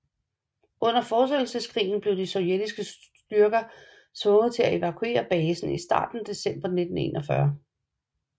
Under Fortsættelseskrigen blev de sovjetiske styrker tvunget til at evakuere basen i starten af december 1941